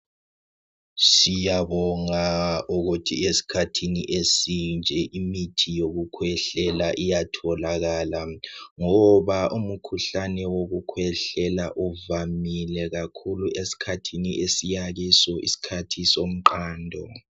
Siyabonga ukuthi esikhathini esinje imithi yokukhwehlela iyatholakala ngoba umkhuhlane wokukhwehlela uvamile kakhulu esikhathini esiyakiso isikhathi somqando.